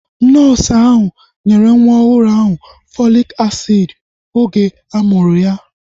Nọọsu ahu nyere nwa ọhụrụ ahụ Fọlik asiidi oge a mụrụ ya